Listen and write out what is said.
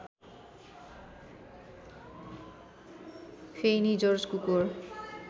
फेइनी George कुकोर